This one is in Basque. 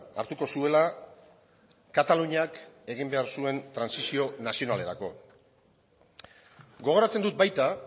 hartuko zuela kataluniak egin behar zuen trantsizio nazionalerako gogoratzen dut baita